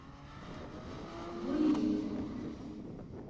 гуйлинь